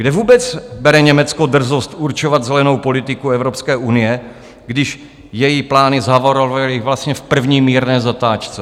Kde vůbec bere Německo drzost určovat zelenou politiku Evropské unie, když její plány zhavarovaly vlastně v první mírné zatáčce?